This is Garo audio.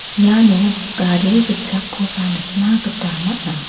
iano gari gitchakkoba nikna gita man·a.